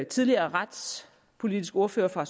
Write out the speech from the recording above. tidligere retspolitiske ordfører for